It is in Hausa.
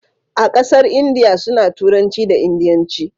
a ƙasar indiya su na turanci da indianci